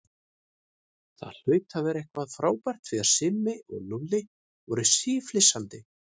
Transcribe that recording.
Það hlaut að vera eitthvað frábært því að Simmi og Lúlli voru síflissandi.